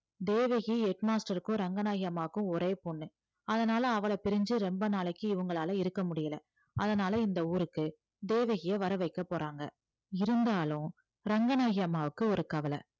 Devaki head master க்கும் ரங்கநாயகி அம்மாவுக்கும் ஒரே பொண்ணு அதனால அவளை பிரிஞ்சு ரொம்ப நாளைக்கு இவங்களால இருக்க முடியலை அதனால இந்த ஊருக்கு தேவகியை வர வைக்கப் போறாங்க இருந்தாலும் ரங்கநாயகி அம்மாவுக்கு ஒரு கவலை